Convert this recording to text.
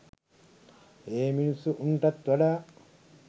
ඒ මිනිස්සු උන්නටත් වඩා